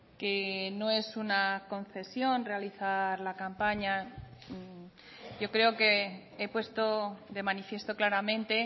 que no es una concesión realizar la campaña yo creo que he puesto de manifiesto claramente